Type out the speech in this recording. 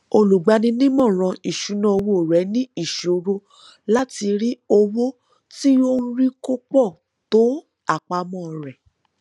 olùgbaninímọràn ìṣúnná owó rẹ ní ìṣòro láti rí owó tó ń rí kò pọ tó àpamọ rẹ